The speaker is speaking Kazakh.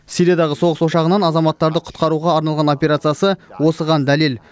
сириядағы соғыс ошағынан азаматтарды құтқаруға арналған операциясы осыған дәлел